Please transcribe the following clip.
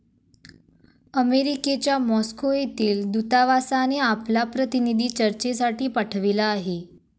अमेरिकेच्या मॉस्को येथील दूतावासाने आपला प्रतिनिधी चर्चेसाठी पाठविला आहे.